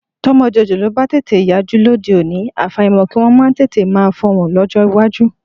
Tọ́mọ jòjòló bá tètè yajú lóde òní, àfàìmọ̀ kí wọn máa tètè máa fọhùn lọ́jọ́ iwájú.